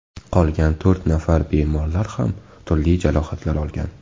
Qolgan to‘rt nafar bemorlar ham turli jarohatlar olgan.